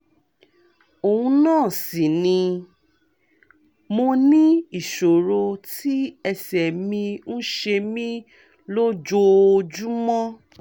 òun náà sì ni! mo ní ìṣòro tí ẹsẹ̀ mi ń ṣe mí lójoojúmọ́